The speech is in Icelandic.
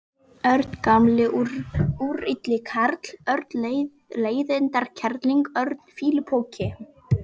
Örn gamli úrilli karl, Örn leiðindakerling, Örn fýlupoki.